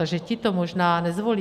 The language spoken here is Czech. Takže ti to možná nezvolí.